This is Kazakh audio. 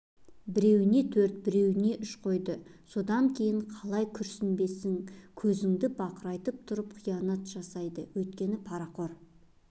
біреуіне төрт біреуіне үш қойды осыдан кейін қалай күйінбессің көзіңді бақырайтып тұрып қиянат жасайды өңкей парақор